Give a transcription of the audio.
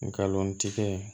Ngalon tigɛ